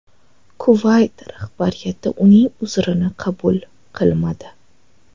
Kuvayt rahbariyati uning uzrini qabul qilmadi.